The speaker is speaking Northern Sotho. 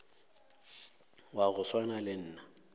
wa go swana le nna